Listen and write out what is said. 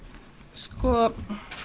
sko